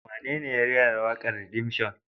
Wanene ya rera waƙar Redemption?